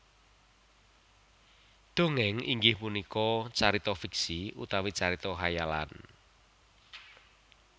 Dongéng inggih punika carita fiksi utawi carita khayalan